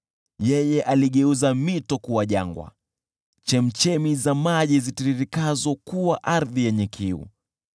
Yeye aligeuza mito kuwa jangwa, chemchemi za maji zitiririkazo kuwa ardhi yenye kiu,